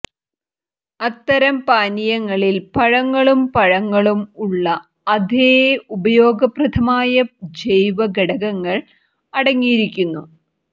അത്തരം പാനീയങ്ങളിൽ പഴങ്ങളും പഴങ്ങളും ഉള്ള അതേ ഉപയോഗപ്രദമായ ജൈവ ഘടകങ്ങൾ അടങ്ങിയിരിക്കുന്നു